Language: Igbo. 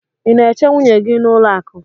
ị na-eche nwunye gị n'ụlọ akụ?